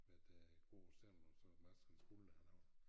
Været øh æ gård selv og så Markens Guld der har lavet det